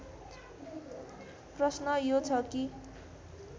प्रश्न यो छ कि